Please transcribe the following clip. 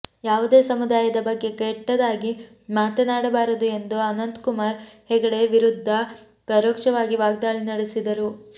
ಯಾವುದೇ ಸಮುದಾಯದ ಬಗ್ಗೆ ಕೆಟ್ಟದಾಗಿ ಮಾತನಾಡಬಾರದು ಎಂದು ಅನಂತ್ಕುಮಾರ್ ಹೆಗಡೆ ವಿರುದ್ಧ ಪರೋಕ್ಷವಾಗಿ ವಾಗ್ದಾಳಿ ನಡೆಸಿದರು